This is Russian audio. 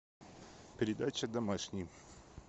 передача домашний